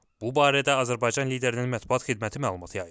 Bu barədə Azərbaycan liderinin mətbuat xidməti məlumat yayıb.